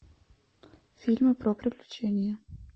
фильмы про приключения